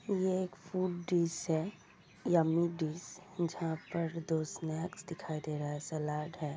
ये एक food dish है यम्मी डिश जहाँ पर दो स्नेकस दिखाई दे रहा है सलाड है।